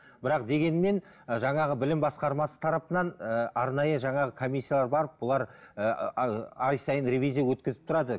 бірақ дегенмен ы жаңағы білім басқармасы тарапынан ыыы арнайы жаңағы комиссиялар барып бұлар ыыы ай сайын ривизия өткізіп тұрады